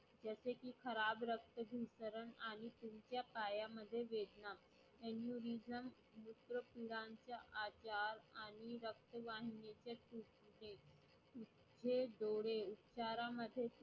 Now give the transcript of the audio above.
खराब रक्ताभिसरण आणि तुमच्या पायामध्ये वेदना when you reason मूत्रपिंडाचे आजार आणि रक्तदाब हे डोळे इशारामध्ये